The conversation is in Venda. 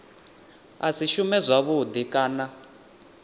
a si shume zwavhudi kana